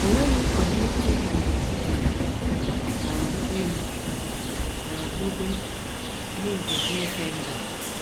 O nweghị ọdịiche dị n’etiti ha na okpukpe ha na okpukpe ndị nke Krisendọm.